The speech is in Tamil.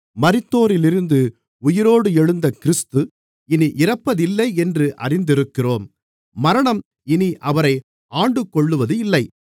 மரித்தோரிலிருந்து உயிரோடு எழுந்த கிறிஸ்து இனி இறப்பதில்லை என்று அறிந்திருக்கிறோம் மரணம் இனி அவரை ஆண்டுகொள்ளுவதில்லை